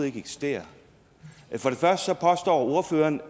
ikke eksisterer for det første påstår ordføreren